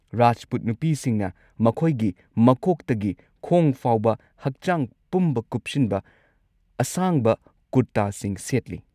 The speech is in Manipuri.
ꯔꯥꯖꯄꯨꯠ ꯅꯨꯄꯤꯁꯤꯡꯅ ꯃꯈꯣꯏꯒꯤ ꯃꯀꯣꯛꯇꯒꯤ ꯈꯣꯡ ꯐꯥꯎꯕ ꯍꯛꯆꯥꯡ ꯄꯨꯝꯕ ꯀꯨꯞꯁꯤꯟꯕ ꯑꯁꯥꯡꯕ ꯀꯨꯔꯇꯥꯁꯤꯡ ꯁꯦꯠꯂꯤ꯫